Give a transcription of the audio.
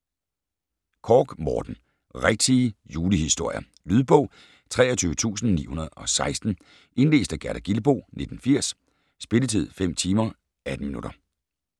Korch, Morten: Rigtige julehistorier Lydbog 23916 Indlæst af Gerda Gilboe, 1980. Spilletid: 5 timer, 18 minutter.